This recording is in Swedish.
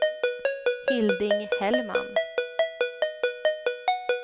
Hilding Hellman